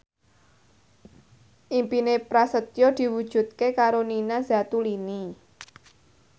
impine Prasetyo diwujudke karo Nina Zatulini